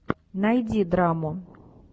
найди драму